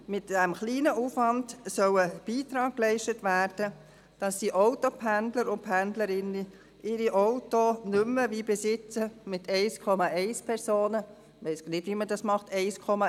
Mit diesem kleinen Aufwand soll ein Beitrag geleistet werden, damit die Autopendlerinnen und -pendler ihre Autos nicht mehr, wie bisher, mit 1,1 Personen – ich weiss nicht, wie man das macht, 1,1 Person;